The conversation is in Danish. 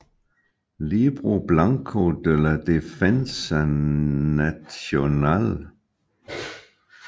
Libro Blanco de la Defensa Nacional